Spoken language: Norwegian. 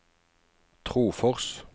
Trofors